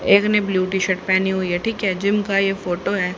एक ने blue T shirt पहनी हुई है ठीक है जिम का यह फोटो है।